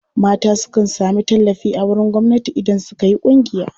Mata sukan sami tallafi a wurin gwamnati idan suka yi ƙungiya.